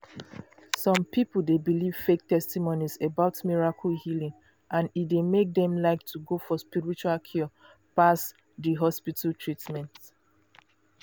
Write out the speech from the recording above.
some people dey believe fake testimonies about miracle healing and e dey make dem like to go for spiritual cure pass di hospital treatment.